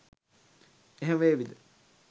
එහෙම වේවිද